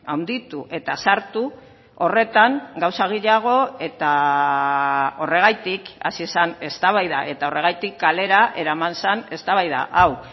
handitu eta sartu horretan gauza gehiago eta horregatik hasi zen eztabaida eta horregatik kalera eraman zen eztabaida hau